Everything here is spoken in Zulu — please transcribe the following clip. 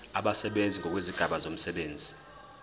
abasebenzi ngokwezigaba zomsebenzi